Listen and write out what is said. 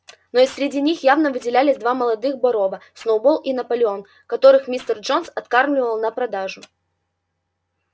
но и среди них явно выделялись два молодых борова сноуболл и наполеон которых мистер джонс откармливал на продажу